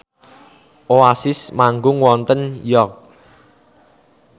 Oasis manggung wonten York